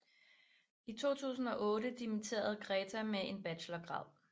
I 2008 dimitterede Gréta med en bachelorgrad